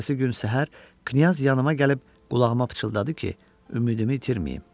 Ertəsi gün səhər Knyaz yanıb gəlib qulağıma pıçıldadı ki, ümidimi itirməyim.